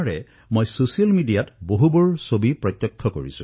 মই ছচিয়েল মিডিয়াত কিছুমান ছবি দেখিবলৈ পাইছিলো